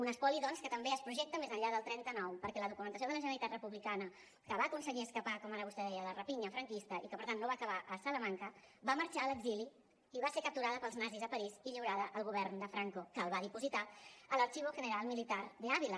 un espoli doncs que també es projecta més enllà del trenta nou perquè la documentació de la generalitat republicana que va aconseguir escapar com ara vostè deia de la rapinya franquista i que per tant no va acabar a salamanca va marxar a l’exili i va ser capturada pels nazis a parís i lliurada al govern de franco que la va dipositar al archivo general militar de ávila